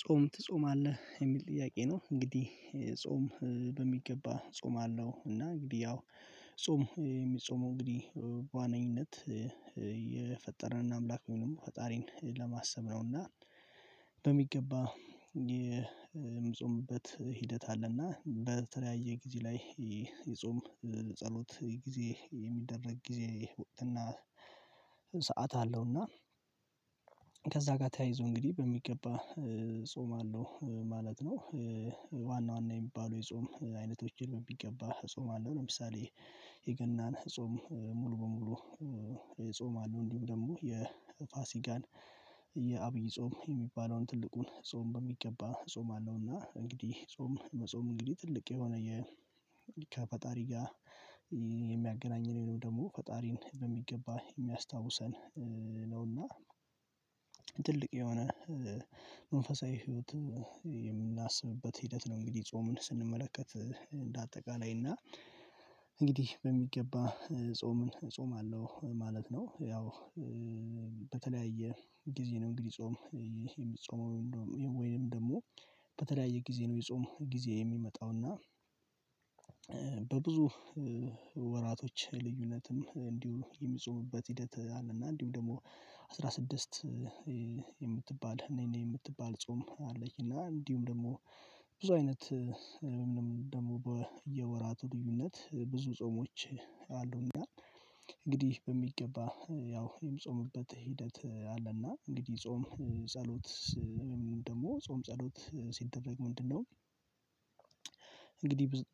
ጾም ትጾማለህ የሚል ጥያቄ ነው? እንግዲህ ጾም በሚገባ እጾማለው እና እንግዲህ ያው ጾም የሚጾመው እንግዲህ በዋነኝነት የፈጠርን አምላክ ወይም ደግሞ ፈጣሪን ለማሰብ ነው እና በሚገባ የምጾምበት ሂደት አለና በተለያየ ጊዜ ላይ የጾም ጸሎት ጊዜ የሚደረግ ጊዜ እና ሰዓት አለው እና ከዛ ጋር ተያይዞ እንግዲህ በሚገባ ጾማለው ማለት ነው። ዋና ዋና የሚባለው የጾም አይነቶች ቢገባ እጾማለው ለምሳሌ የገናን ጾም ሙሉ በሙሉ ጾማለው። እንዲሁም ደግሞ የፋሲጋን የአብይ ጾም የሚባለውን ትልቁን ጾም በሚገባ ጾም አለውና እንግዲህ ጾም መጾም እንግዲህ ትልቅ የሆነ ከፈጣሪ ጋር የሚያገናኝ ወይም ደግሞ ፈጣሪን በሚገባ የሚያስታውሰን ነውና ትልቅ የሆነ መንፈሳዊ ህይወት የምናስብበት ሂደት ነው። እንግዲህ ጾምን ስንመለከት እንደ አጠቃላይ እና እንግዲህ በሚገባ ጾምን እጾማለው ማለት ነው። ያው በተለያየ ጊዜ ነው እንግዲህ ጾም የሚጾመው ወይም ደግሞ በተለያየ ጊዜ ነው የጾም ጊዜ የሚመጣው እና በብዙ ወራቶች ልዩነትም እንዲሁ የሚጾምበት ሂደት አለና እንዲሁ ደግሞ አስራ ስድስት የምትባል ነይ ነይ የምትባል ጾም አለች። እና እንዲሁም ደግሞ ብዙ አይነት ደግሞ በየወራቱ ልዩነት ብዙ ጾሞች አሉ። እና እንግዲህ በሚገባ ያው የምጾምበት ሂደት አለና እንግዲህ ጾም ጸሎት ደግሞ ጾም ጸሎት ሲደረግ ምንድነው?